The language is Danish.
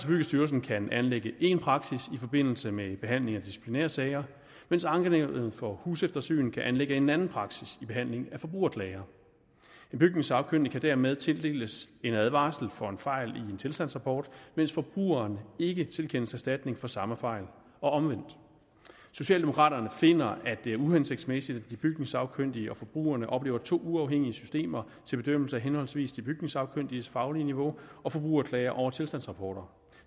byggestyrelsen kan anlægge én praksis i forbindelse med behandlingen af disciplinærsager mens ankenævnet for huseftersyn kan anlægge en anden praksis i behandlingen af forbrugerklager den bygningssagkyndige kan dermed tildeles en advarsel for en fejl i en tilstandsrapport mens forbrugeren ikke tilkendes erstatning for samme fejl og omvendt socialdemokraterne finder at det er uhensigtsmæssigt at de bygningssagkyndige og forbrugerne oplever to uafhængige systemer til bedømmelse af henholdsvis de bygningssagkyndiges faglige niveau og forbrugerklager over tilstandsrapporter